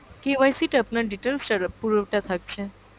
KYC টা আপনার details টা পুরোটা থাকছে।